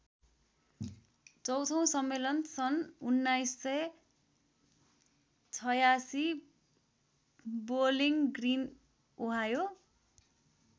चौँथो सम्मेलन सन् १९८६ बोअलिङ ग्रिन ओहायो।